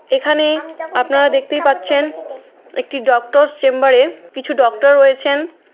এখানে আপনারা দেখতেই পাচ্ছেন একটি ডক্টর চেম্বারে কিছু ডক্টর রয়েছেন।